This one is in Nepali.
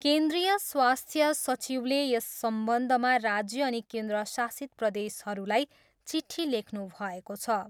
केन्द्रीय स्वास्थ्य सचिवले यस सम्बन्धमा राज्य अनि केन्द्रशासित प्रदेशहरूलाई चिट्ठी लेख्नुभएको छ।